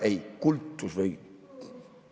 Ei, kultus‑ või?